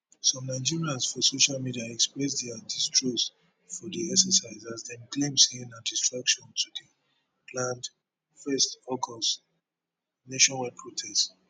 some nigerans for social media express dia distrust for di exercise as dem claim say na distraction to di planned 1 august nationwide protest